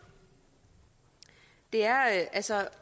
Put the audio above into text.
det er altså